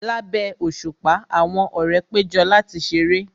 Lábẹ́ òṣùpá, àwọn ọ̀rẹ́ péjọ láti ṣeré